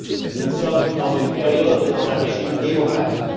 Nous sommes dans une période et dans un régime démocratique.